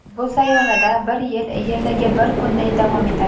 Bu sayyorada bir yil Yerdagi bir kunday davom etadi.